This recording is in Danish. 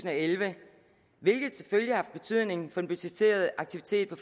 og elleve hvilket selvfølgelig har haft betydning for den budgetterede aktivitet på